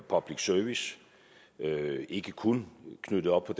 public service ikke kun knyttet op på